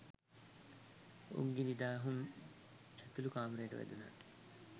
උංගී නිදා හුන් ඇතුළු කාමරයට වැදුනහ.